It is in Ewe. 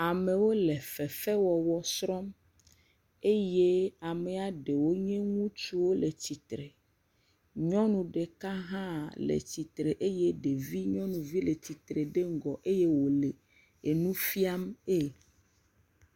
Amewo le fefe wɔwɔ srɔ̃m eye amea ɖewo nye ŋutsuwo le tsitre. Nyɔnu ɖeka hã le tsitre eye ɖevinyɔnuvi le tsitre ɖe ŋgɔ eye wo le enu fia mee.